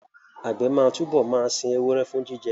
Àgbẹ̀ máa túbọ̀ máa sin ewúrẹ́ fún jíjẹ